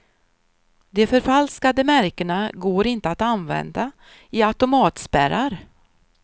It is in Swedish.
De förfalskade märkena går inte att använda i automatspärrar.